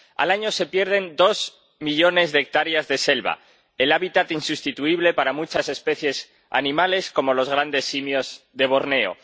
Al año se pierden dos millones de hectáreas de selva, el hábitat insustituible para muchas especies animales como los grandes simios de Borneo.